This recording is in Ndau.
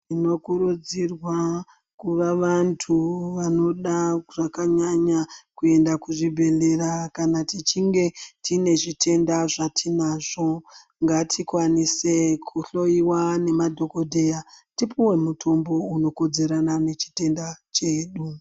Tinokurudzirwa kuva vantu vanoda zvakanyanya kuenda kuzvibhehleya kana tichinge tine zvitenda zvatinazvo ngatikwanise kuhloiwa nemadhokodheya tipuwe mutombo unokodzerana nechitenda chedu.